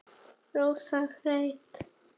Rósant Freyr.